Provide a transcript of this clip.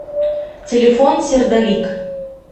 телефон сердолик